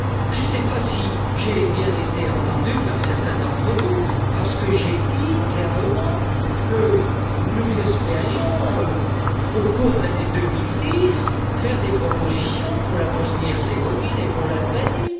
Je ne sais pas si j'ai bien été entendu par certains d'entre vous j'ai dit clairement que nous espérions, au cours de l'année 2010, faire des propositions pour la Bosnie et Herzégovine et pour l'Albanie.